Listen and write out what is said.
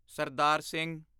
Sardar Singh